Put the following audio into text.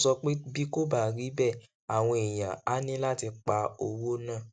ó sọ pé bí kò bá rí bẹẹ àwọn èèyàn á ní láti pa owó náà